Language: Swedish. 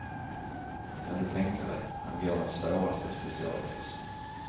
Kan du tänka dig, han går den svåraste specialkursen.